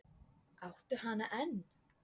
Áttu hana enn?